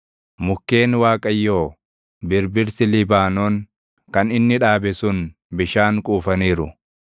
Mukkeen Waaqayyoo, birbirsi Libaanoon kan inni dhaabe sun bishaan quufaniiru.